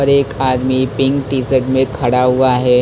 और एक आदमी पिंक टी शर्ट में खड़ा हुआ है।